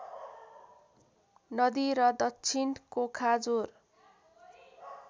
नदी र दक्षिण कोखाजोर